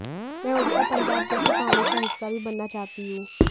मैं उड़ता पंजाब जैसी कहानी का हिस्सा भी बनना चाहती हूं